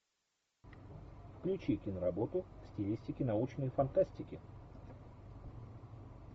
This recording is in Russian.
включи киноработу в стилистике научной фантастики